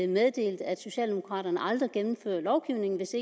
meddelte at socialdemokraterne aldrig gennemfører lovgivning hvis